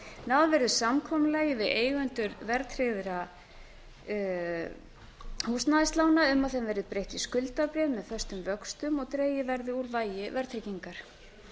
náð verði samkomulagi við eigendur verðtryggðra húsnæðislána um að þeim verði breytt í skuldabréf með föstum vöxtum og dregið úr vægi verðtryggingar